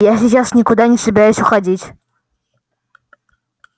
я сейчас никуда не собираюсь уходить